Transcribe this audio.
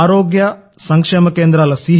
ఆరోగ్య సంక్షేమ కేంద్రాల సి